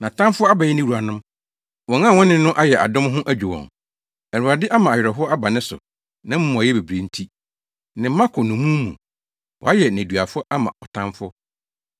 Nʼatamfo abɛyɛ ne wuranom; wɔn a wɔne no ayɛ adɔm ho adwo wɔn. Awurade ama awerɛhow aba ne so nʼamumɔyɛ bebrebe nti. Ne mma kɔ nnommum mu. Wɔayɛ nneduafo ama ɔtamfo.